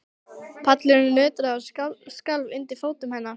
Pallurinn nötraði og skalf undir fótum hennar.